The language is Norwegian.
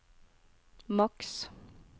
maks